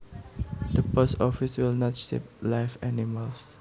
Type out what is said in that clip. The post office will not ship live animals